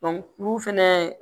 olu fɛnɛ